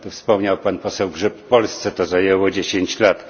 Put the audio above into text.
Jak wspomniał pan poseł Grzyb, Polsce to zajęło 10 lat.